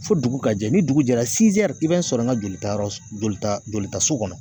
Fo dugu ka jɛ ni dugu jɛra i b'a sɔrɔ n ka jolitayɔrɔ jolita jolitaso kɔnɔ